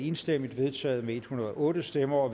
enstemmigt vedtaget med en hundrede og otte stemmer